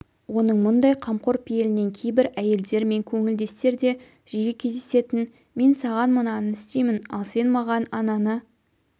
оның мұндай қамқор пейілінен кейбір әйелдер мен көңілдестерде жиі кездесетін мен саған мынаны істеймін ал сен маған ананы